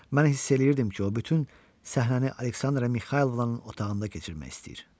Mən hiss eləyirdim ki, o bütün səhrəni Aleksandra Mixaylovnanın otağında keçirmək istəyir.